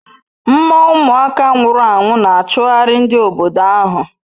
Mmoo umuaka nwuru anwu n'achughari ndi obodo ahu